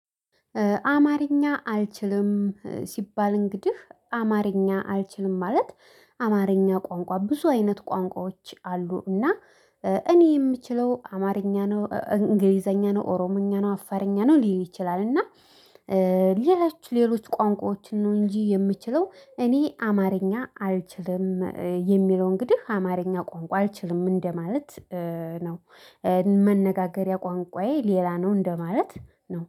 አማርኛ አልችልም ሲባል እንግዲህ አማርኛ አልችልም ማለት አማርኛ ቋንቋ ብዙ አይነት ቋንቋዎች አሉ። እና እኔ የምችለው አማርኛ ነው እንግሊዘኛ ነው ኦሮምኛ ነው አፋርኛ ነው ሊል ይችላል። እና ሌሎች ሌሎች ቋንቋዎችን ነው። እንጂ የምችለው እኔ አማርኛ አልችልም የሚለው እንግዲህ አማርኛ ቋንቋ አልችልም እንደማለት ነው። መነጋገሪያ ቋንቋዬ ሌላ ነው እንደማለት ነው